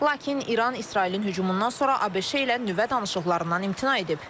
Lakin İran İsrailin hücumundan sonra ABŞ-la nüvə danışıqlarından imtina edib.